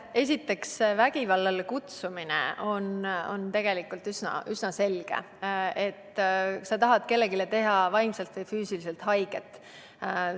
Esiteks, vägivallale üleskutsumine on tegelikult üsna selge – sa tahad kellelegi vaimselt või füüsiliselt haiget teha.